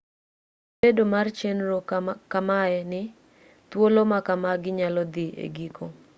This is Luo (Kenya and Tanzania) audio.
gi bedo mar chenro ma kamae ni thuolo ma kamagi nyalo dhi e giko